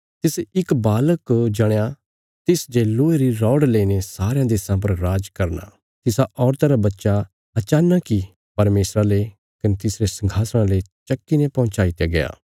तिसे इक बालक जणया तिस जे लोहे री रौड़ लईने सारयां देशां पर राज करना तिसा औरता रा बच्चा अचानक इ परमेशरा ले कने तिसरे संघासणा ले चक्की ने पहुँचाईत्या गया